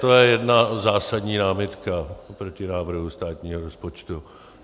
To je jedna zásadní námitka oproti návrhu státního rozpočtu.